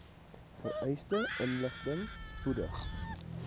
vereiste inligting spoedig